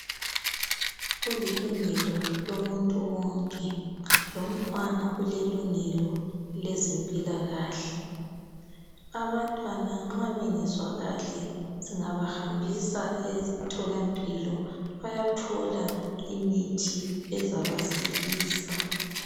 Kulilungelo lomuntu wonke lomntwana ulelungelo lezempilakahle. Abantwana nxa bengezwa kahle singabahambisa emtholampilo bayathola imithi ezabasilisa.